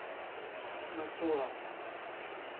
Macola.